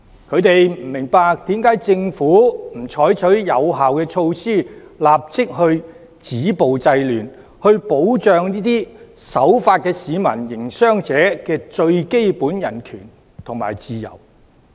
他們不明白為何政府不採取有效措施，立即止暴制亂，保障這些守法的市民和營商者最基本的人權和自由？